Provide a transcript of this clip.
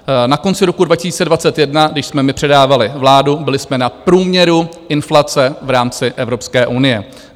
Na konci roku 2021, když jsme my předávali vládu, byli jsme na průměru inflace v rámci Evropské unie.